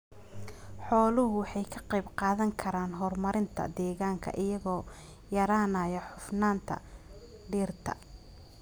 Xooluhu waxay ka qayb qaadan karaan horumarinta deegaanka iyagoo yaraynaya cufnaanta dhirta.